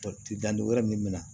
Danduguyɔrɔ min bɛ na